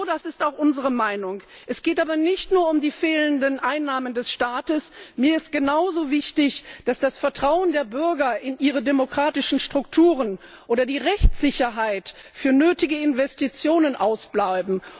Genau das ist auch unsere Meinung. Es geht aber nicht nur um die fehlenden Einnahmen des Staates, mir ist genauso wichtig, dass das Vertrauen der Bürger in ihre demokratischen Strukturen oder die Rechtssicherheit für nötige Investitionen ausbleiben.